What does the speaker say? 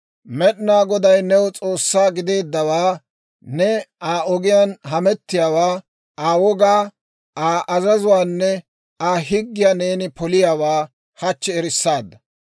Med'inaa Goday new S'oossaa gideeddawaa, ne Aa ogiyaan hamettiyaawaa, Aa wogaa, Aa azazuwaanne Aa higgiyaa neeni poliyaawaa hachchi erissaadda.